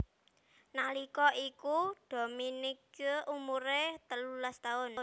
Nalika iku Dominique umuré telulas taun